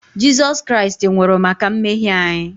Jizọs Kraịst nwụrụ maka mmehie anyị